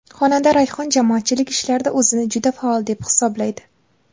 Xonanda Rayhon jamoatchilik ishlarida o‘zini juda faol deb hisoblaydi.